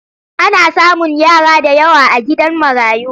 Ana samun yara da yawa a gidan marayu.